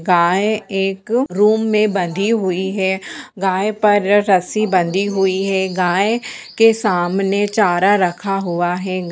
गाये एक रूम मे बंधी हुई है गाये पर रस्सी बंधी हुई है गाये के सामने चारा रखा हुआ है--